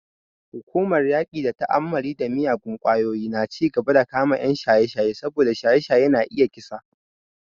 Hukumar yaƙi da ta'ammali da miyagun ƙwayoyi na cigaba da kama 'yan shaye-shaye saboda shaye-shaye na iya kisa.